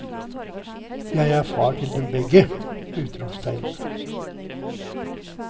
Jeg er far til dem begge! utropstegn